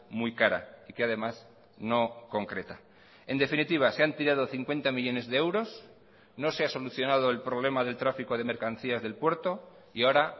muy cara y que además no concreta en definitiva se han tirado cincuenta millónes de euros no se ha solucionado el problema del tráfico de mercancías del puerto y ahora